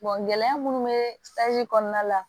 gɛlɛya minnu bɛ kɔnɔna la